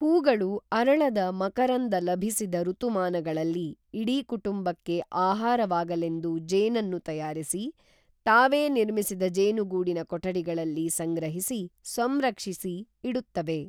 ಹೂಗಳು ಅರಳದ ಮಕರಂದ ಲಭಿಸದ ಋತುಮಾನಗಳಲ್ಲಿ ಇಡೀ ಕುಟುಂಬಕ್ಕೆ ಆಹಾರವಾಗಲೆಂದು ಜೇನನ್ನು ತಯಾರಿಸಿ, ತಾವೇ ನಿರ್ಮಿಸಿದ ಜೇನುಗೂಡಿನ ಕೊಠಡಿಗಳಲ್ಲಿ ಸಂಗ್ರಹಿಸಿ, ಸಂರಕ್ಷಿಸಿ ಇಡುತ್ತವೆ.